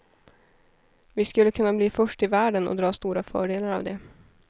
Vi skulle kunna bli först i världen och dra stora fördelar av det.